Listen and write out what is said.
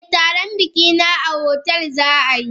Eh taron bikina a hotel zaayi.